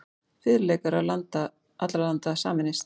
Fiðluleikarar allra landa sameinist.